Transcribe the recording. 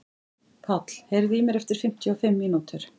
Páll, heyrðu í mér eftir fimmtíu og fimm mínútur.